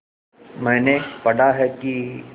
मैंने पढ़ा है कि